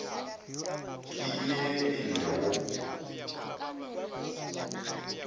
ke ye e le go